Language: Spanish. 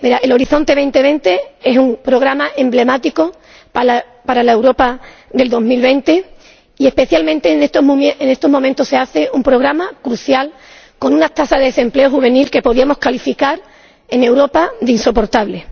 Horizonte 2020 es un programa emblemático para la Europa de 2020 y, especialmente, en estos momentos, resulta un programa crucial, ante una tasa de desempleo juvenil que podríamos calificar en Europa de insoportable.